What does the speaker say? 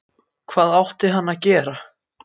Hvað átti hann að gera?